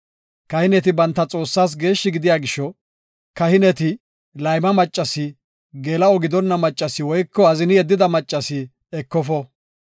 “Kahineti banta Xoossaas geeshshi gidiya gisho, kahineti layma maccasi, geela7o gidonna maccasi woyko azini yeddida maccasi ekofo.